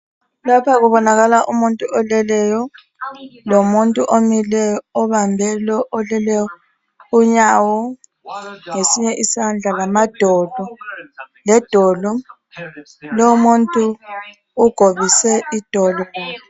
Lapha kubonakala umuntu oleleyo lomuntu omileyo obambe lo oleleyo unyawo ngesinye isandla lamadolo ledolo lomuntu ugobise idolo.